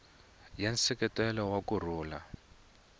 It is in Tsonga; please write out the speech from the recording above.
ya nseketelo wa ku rhula